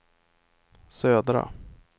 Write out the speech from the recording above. södra